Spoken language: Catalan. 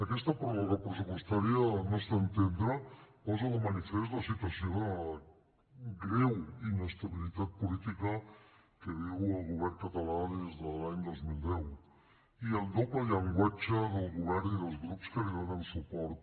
aquesta pròrroga pressupostària al nostre entendre posa de manifest la situació de greu inestabilitat política que viu el govern català des de l’any dos mil deu i el doble llenguatge del govern i dels grups que li donen suport